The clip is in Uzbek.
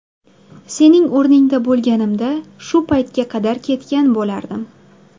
Sening o‘ringda bo‘lganimda, shu paytga qadar ketgan bo‘lardim.